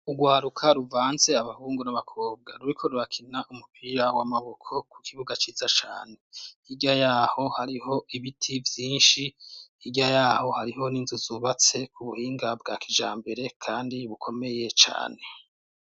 Urwaruka ruvanze abahungu n'abakobwa ruriko rurakina umupira w'amaboko ku kibuga ciza cane. Hirya yaho hariho ibiti vyinshi, hirya yaho hariho n'inzu zubatse ku buhinga bwa kijambere kandi bukomeye cane.